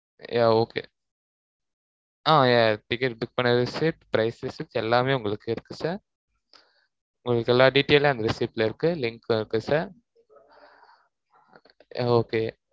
yeah okay ah yeah ticket book பண்ணது, sir prize receipt எல்லாமே உங்களுக்கு இருக்கு sir உங்களுக்கு எல்லா detail ம் அந்த receipt ல இருக்கு. link ல இருக்கு siryeah okay